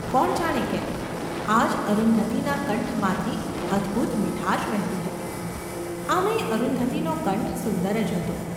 કોણ જાણે કેમ, આજ અરુંધતીના કંઠમાંથી અદ્‌ભુત મીઠાશ વહેતી હતી ! આમે ય અરુંધતીનો કંઠ સુંદર જ હતો.